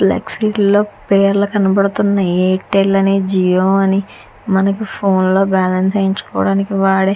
Left street లో మనకి పేర్లు కనిపిస్తున్నాయి ఎయిర్టెల్ అని జిఒ అని మనకి ఫోన్ లో బ్యాలెన్స్ వేసుకోటానికి కూడా.